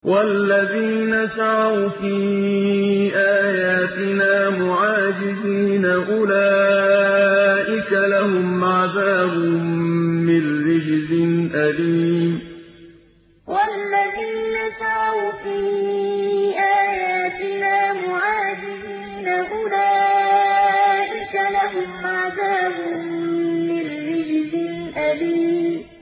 وَالَّذِينَ سَعَوْا فِي آيَاتِنَا مُعَاجِزِينَ أُولَٰئِكَ لَهُمْ عَذَابٌ مِّن رِّجْزٍ أَلِيمٌ وَالَّذِينَ سَعَوْا فِي آيَاتِنَا مُعَاجِزِينَ أُولَٰئِكَ لَهُمْ عَذَابٌ مِّن رِّجْزٍ أَلِيمٌ